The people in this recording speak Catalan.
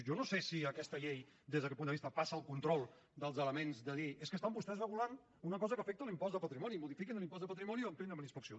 jo no sé si aquesta llei des d’aquest punt de vista passa el control dels elements de dir és que estan vostès regulant una cosa que afecta l’impost de patrimoni modifiquin l’impost de patrimoni i ampliïn ho amb inspecció